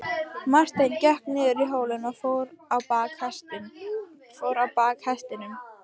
Marteinn gekk niður hólinn og fór á bak hestinum.